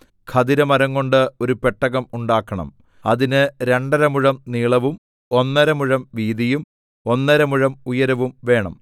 ഖദിരമരംകൊണ്ട് ഒരു പെട്ടകം ഉണ്ടാക്കണം അതിന് രണ്ടരമുഴം നീളവും ഒന്നര മുഴം വീതിയും ഒന്നര മുഴം ഉയരവും വേണം